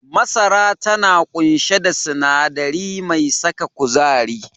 Masara tana ƙunshe da sinadari mai saka kuzari.